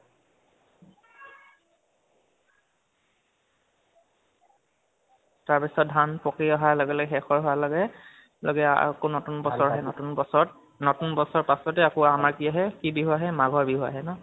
তাৰ পিছত ধান পকি আহা লগে লগে শেষ হোৱাৰ লগে লগে আকৌ নতুন বছৰ আহে নতুন বছৰ। নতুন বছৰৰ পাছত আকৌ আমাৰ কি বিহু আহে? মাঘৰ বিহু আহে ন?